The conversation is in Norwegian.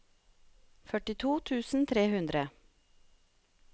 førtito tusen og tre hundre